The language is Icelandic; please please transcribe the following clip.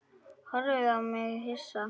Horfði á mig hissa.